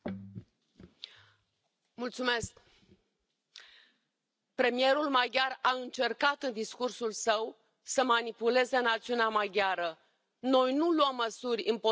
Domnule președinte, premierul maghiar a încercat în discursul său să manipuleze națiunea maghiară. Noi nu luăm măsuri împotriva națiunii maghiare.